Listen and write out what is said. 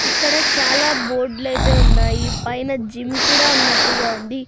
ఇక్కడ చాలా బోర్డ్ లైతే ఉన్నాయి పైన జిమ్ కూడా ఉన్నట్టుగా ఉంది.